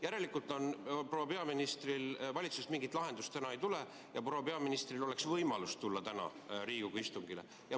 Järelikult valitsusest mingit lahendust täna ei tule ja proua peaministril oleks võimalus tulla täna Riigikogu istungile.